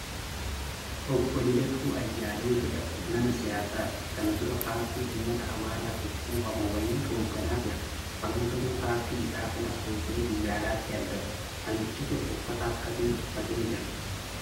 Obbo lidatuu Ayyaalew jedhama. Nama siyaasaati. Kana dura paartii ummata amaaratiif quuqamu wayii hooggana ture. Amma garuu paartii isaa sanas dhiisee biyya alaatti argama. Namichi kun uffata akkamii uffatee jira?